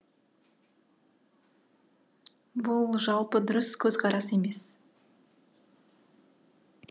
бұл жалпы дұрыс көзқарас емес